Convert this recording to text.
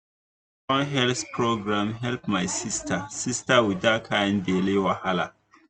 na one health program help my sister sister with that kind belly wahala.